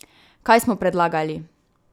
Kaj smo predlagali?